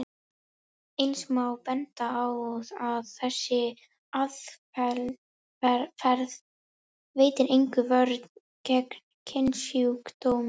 Eins má benda á að þessi aðferð veitir enga vörn gegn kynsjúkdómum.